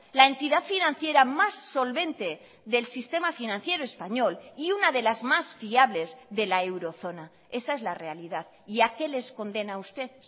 la entidad financiera más solvente del sistema financiero español y una de las más fiables de la eurozona esa es la realidad y a qué les condena a usted